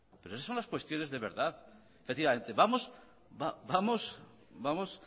pero esas son las cuestiones de verdad efectivamente